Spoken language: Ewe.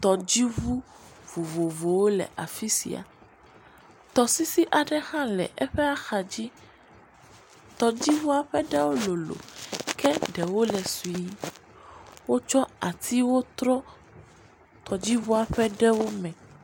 Tɔdzi ʋu vovovowo le afisia, tɔsisi aɖe hã le eƒe axa dzi, tɔdzi ʋua ƒe ɖewo lolo ke ɖewo ke sui, wo tsɔ atiwo trɔ tɔdzi ʋua ƒe ɖewo me.